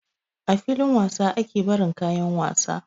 A filin wasa ake barin kayan wasa